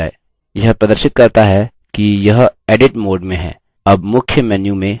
यह प्रदर्शित करता है कि यह edit mode में है